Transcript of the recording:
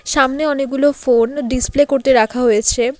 সামনে অনেকগুলো phone display করতে রাখা হয়েছে।